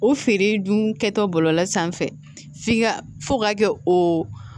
O feere dun kɛtɔ bɔlɔlɔ sanfɛ f'i ka fɔ ka kɛ o